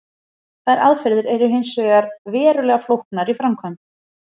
Þær aðferðir eru hins vegar verulega flóknar í framkvæmd.